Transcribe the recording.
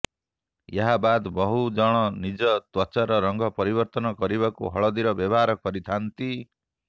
ଏହାବାଦ ବହୁ ଜଣ ନିଜ ତ୍ୱଚାର ରଙ୍ଗ ପରିବର୍ତ୍ତନ କରିବାକୁ ହଳଦୀର ବ୍ୟବହାର କରିଥାନ୍ତି